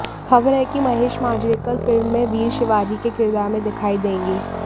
खबर है कि महेश मांजरेकर फिल्म में वीर शिवाजी के किरदार में दिखाई देंगे